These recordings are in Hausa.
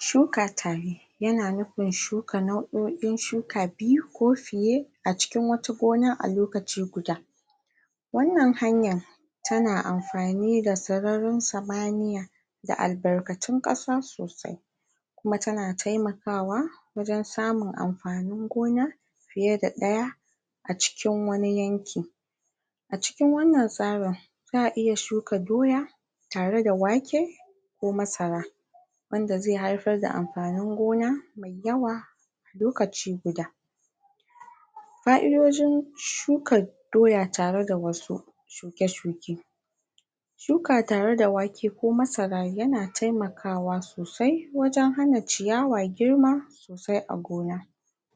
shuka tare yana nufin shuka nau'o'in shuka iri biyu ko fiye a cikin wata gona a lokachi guda wannan hanya tana amfani da sararin samaniya da albarkatun ƙasa sosai kuma tana taimakawa wajen samun amfanin gona fiye da ɗaya a cikin wani yanki a cikin wannan tsarin za'a iya shuka doya tareda wake ko masara wanda zai haifarda amfanin gona mai yawa lokaci guda fa'idojin shuka doya tareda wasu shuke-shuke shuka tareda wake ko masara yana taimakawa sosai wajen hana ciyawa girma sosai a gona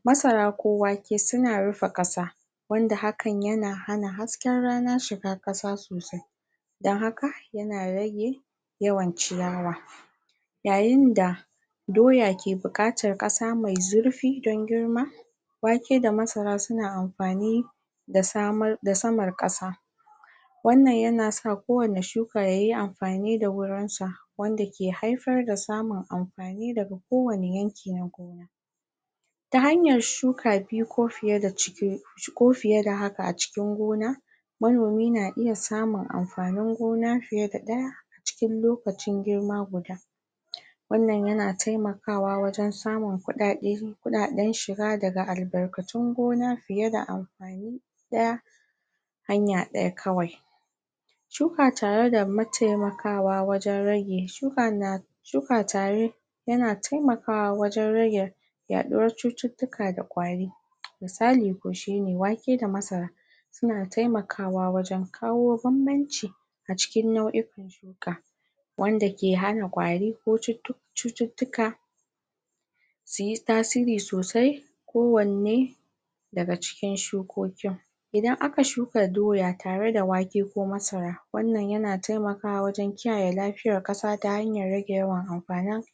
masara ko wake suna rufe ƙasa wanad hakan na hana hasken rana shiga ƙasa sosai don haka yana rage yawan ciyawa yayinda doya ke buƙatar ƙasa mai zurfi don girma wake da masara suna amfani da samar ƙasa wannan yana sa kowanne shuka yayi amfani da wurinsa wanda ke haifar da samun amfani daga kowanne yanki ta hanyar shuka biyu ko fiye da ciki ko fiyeda haka a cikin gona manomi na iyasamun amfanin gona fiye da ɗaya cikin lokacin girma guda wannan yana taimakawa wajen samun kuɗɗaɗe, kuɗɗaɗen shiga daga albarkatun gona fiye da amfani ɗaya hanya ɗaya kawai shuka tareda mataimakawa wajen rage shuka na shuka tare yana taimakawa wajen rage yaɗuwar cututtuka da kwari misali ko shine wake da masara suna taimakawa wajen kawo bambanci a cikin nau'ikan ka wanada ke hana kwari ko cututtuka suyi tasiri sosai kowanne daga cikin shukokin idan aka shuka doya tare da wake ko masara wannan yana taimakawa wajen kiyaye lafiyar ƙasa ta hanyar rage yawan amfanin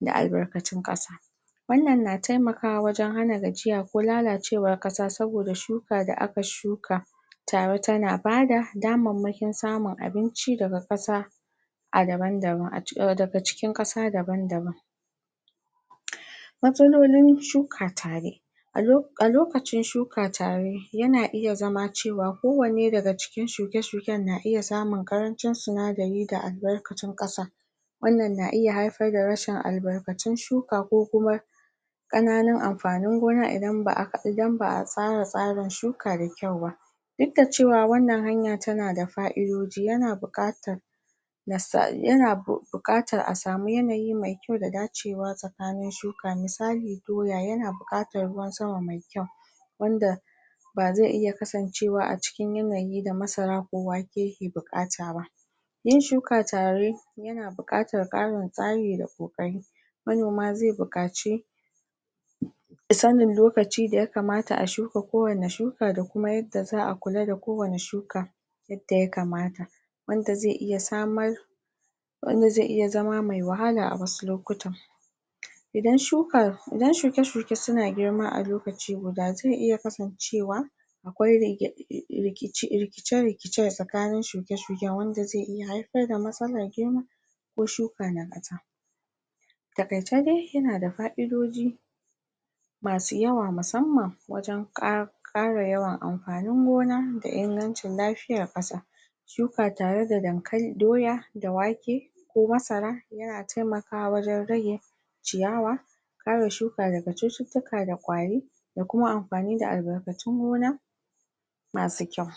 da albarkatun ƙasa wannan na taimakawa wajen hana gajiya ko lalacewar ƙasa saboda shuka da aka shuka tawa tana bada damarmakin samun abinci daga ƙasa a daban-daban, daga cikin ƙasa daban-daban matsalolin shuka tare a lokacin shuka tare yana iya zama cewa kowanne daga cikin shuke-shuken na iya samun ƙarancin sinadari da albarkacin ƙasa wannan na iya haifar da rasshin albarkatun shuka ko kuma ƙananun amfanin gona idan ba'a tsara tsarin shuka da kyau ba duk da cewa wannan hanya tanada fa'idoji yana buƙatar yana buƙatar a samu yanayi mai kyau da dacewa tsakanin shuka, misali doya yana buƙatar ruwan sama mai kyau wanda ba zai iya kasancewa a cikin yanayi da masara ko wake yake buƙata ba yin shuka tare yana buƙatar ƙarin tsari da ƙoƙari manoma zai buƙaci misalin lokaci da ya kamata a shuka kowanne shuka da kuma yadda za'a kula da kowanne shuka yadda ya kamata wanda zai iya samar wanda zai iya zama mai wahala a wasu lokuta idan shuka, idan shuke-shuke suna girma a lokaci guda zai iya kasancewa akwai rikice-rikice a tsakanin shuke-shuke wanda zai iya haifarda matsalar girma ko shuka na ɓata a taƙaice dai yana da fa'idoji masu yawa musamman wajen ƙara ƙara yawan amfanin gona da ingancin lafiyar ƙasa shuka tare da dankali, doya da wake ko masara yana taimakawa wajen rage ciyawa kare shuka daga cututtuka da kwari ko kuma amfani da albarkatun gona masu kyau